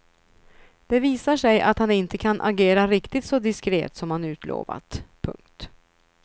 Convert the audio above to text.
Det visar sig att han inte kan agera riktigt så diskret som han utlovat. punkt